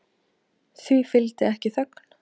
Því fylgdi ekki þögn.